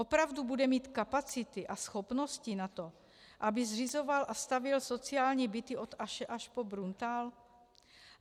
Opravdu bude mít kapacity a schopnosti na to, aby zřizoval a stavěl sociální byty od Aše až po Bruntál?